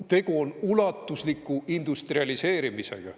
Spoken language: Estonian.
Tegu on ulatusliku industrialiseerimisega.